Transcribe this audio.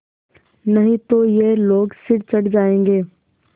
नहीं तो ये लोग सिर चढ़ जाऐंगे